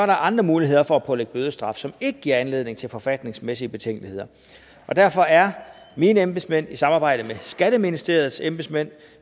der andre muligheder for at pålægge bødestraf som ikke giver anledning til forfatningsmæssige betænkeligheder derfor er mine embedsmænd i samarbejde med skatteministeriets embedsmænd